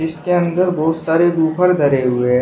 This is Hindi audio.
इसके अंदर बहुत सारे बूफर धरे हुए--